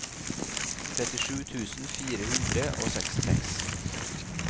trettisju tusen fire hundre og sekstiseks